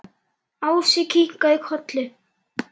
Ási kinkaði kolli.